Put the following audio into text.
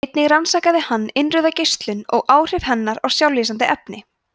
einnig rannsakaði hann innrauða geislun og áhrif hennar á sjálflýsandi efni